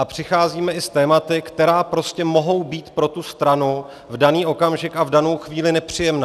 A přicházíme i s tématy, která prostě mohou být pro tu stranu v daný okamžik a v danou chvíli nepříjemná.